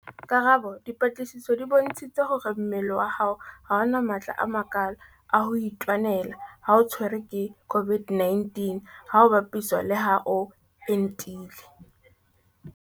Karabo- Dipatlisiso di bontshitse hore mmele wa hao ha o na matla a makalo a ho itwanela ha o tshwerwe ke COVID-19 ha ho bapiswa le ha o entile.